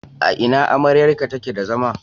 A ina amryarka take da zama?